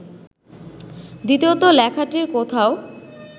দ্বিতীয়ত লেখাটির কোথাও